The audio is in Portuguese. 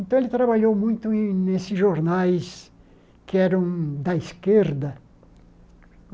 Então, ele trabalhou muito nesses jornais que eram da esquerda.